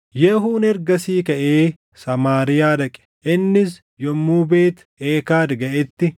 Yehuun ergasii kaʼee Samaariyaa dhaqe. Innis yommuu Beet Eekad gaʼetti,